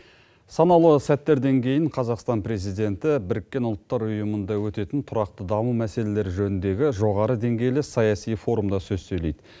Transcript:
санаулы сәттерден кейін қазақстан президенті біріккен ұлттар ұйымында өтетін тұрақты даму мәселелері жөніндегі жоғары деңгейлі саяси форумда сөз сөйлейді